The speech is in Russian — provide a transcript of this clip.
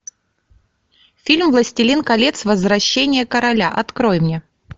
фильм властелин колец возвращение короля открой мне